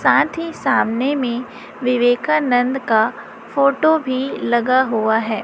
साथ ही सामने में विवेकानंद का फोटो भी लगा हुआ है।